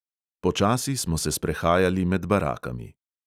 Počasi smo se sprehajali med barakami.